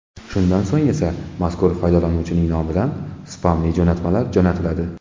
Shundan so‘ng esa mazkur foydalanuvchining nomidan spamli jo‘natmalar jo‘natiladi.